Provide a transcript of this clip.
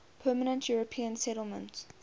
permanent european settlement